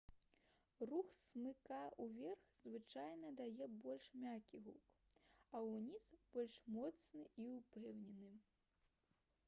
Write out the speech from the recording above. рух смыка ўверх звычайна дае больш мяккі гук а ўніз больш моцны і ўпэўнены